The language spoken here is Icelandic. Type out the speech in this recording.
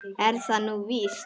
Er það nú víst ?